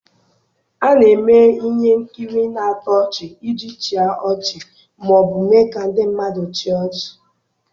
A na-eme ihe nkiri na-atọ ọchị iji chịa ọchị ma ọ bụ mee ka ndị mmadụ chịa ọchị.